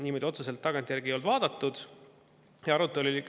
Niimoodi otseselt tagantjärele ei ole seda.